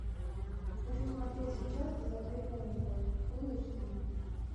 хочу смотреть сейчас безответная любовь фул эйч ди